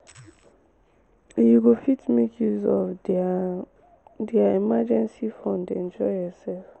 you go fit make use of their their emergency fund enjoy yourself